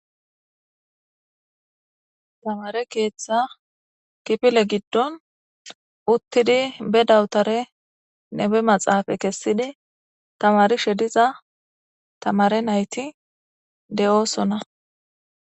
Hayssa misileza bolla tani xeelishin taasi ha'i beetizay aaze gizayssa giddikko tani be'iza mala tamare nayttakko.